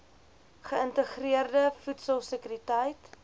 geïntegreerde voedsel sekuriteit